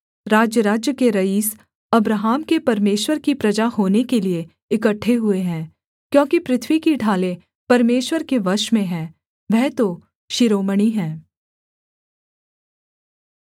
राज्यराज्य के रईस अब्राहम के परमेश्वर की प्रजा होने के लिये इकट्ठे हुए हैं क्योंकि पृथ्वी की ढालें परमेश्वर के वश में हैं वह तो शिरोमणि है